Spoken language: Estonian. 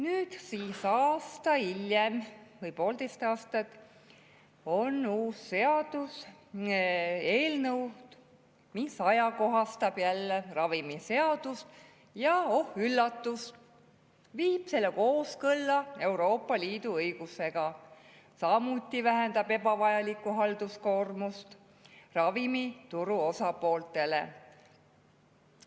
Nüüd, aasta või poolteist hiljem, on uus seaduseelnõu, mis ajakohastab jälle ravimiseadust ja oh üllatust, viib selle kooskõlla Euroopa Liidu õigusega, samuti vähendab see ebavajalikku halduskoormust ravimituru osapooltele.